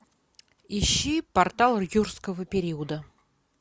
ищи портал юрского периода